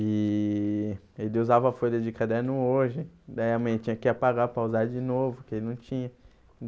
E ele usava a folha de caderno hoje, daí a mãe tinha que apagar para usar de novo, que ele não tinha.